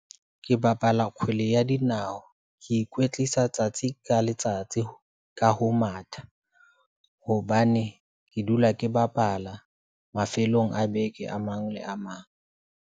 Ke bapala kgwele ya dinao, ke ikwetlisa tsatsi ka letsatsi ka ho matha hobane ke dula ke bapala mafelong a beke. a mang le a mang.